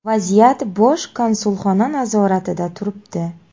Vaziyat Bosh konsulxona nazoratida turibdi.